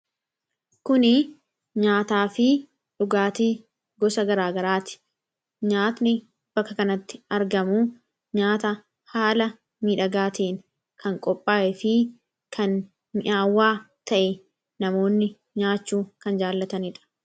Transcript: Kun nyaataa fi dhugaatii gosa garaagaraati. Nyaatni bakka kanatti argamu nyaata haala miidhagaa ta'een kan qophaayee fi kan mi'aawaa ta'e namoonni nyaachuu kan jaallatanidha.